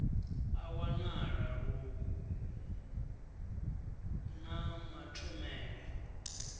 a wanala lu na mathomele